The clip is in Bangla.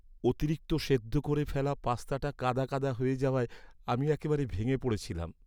অতিরিক্ত সেদ্ধ করে ফেলা পাস্তাটা কাদা কাদা হয়ে যাওয়ায় আমি একেবারে ভেঙে পড়েছিলাম।